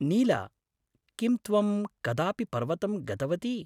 नीला, किं त्वं कदापि पर्वतं गतवती?